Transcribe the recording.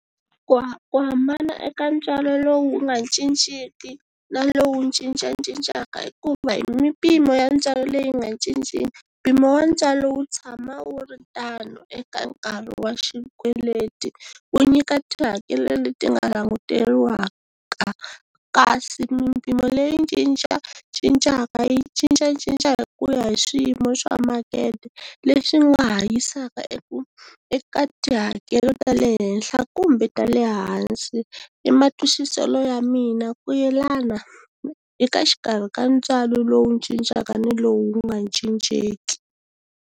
Ku ku hambana eka ntswalo lowu nga cinciki na lowu cincacincaka i ku va hi mimpimo ya ntswalo leyi nga cinciki mpimo wa ntswalo wu tshama wu ri tano eka nkarhi wa xikweleti ku nyika tihakelo leti nga languteriwaka kasi mimpimo leyi cincacincaka yi cincacinca hi ku ya hi swiyimo swa makete leswi nga hanyisaka eku eka tihakelo ta le henhla kumbe ta le hansi i matwisiselo ya mina ku yelana eka xikarhi ka ntswalo lowu cincacincaka ni lowu wu nga cincenki.